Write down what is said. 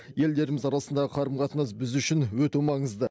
елдеріміз арасындағы қарым қатынас біз үшін өте маңызды